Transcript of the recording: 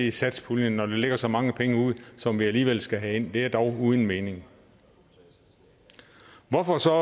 i satspuljen når der ligger så mange penge ude som vi alligevel skal have ind er dog uden mening hvorfor så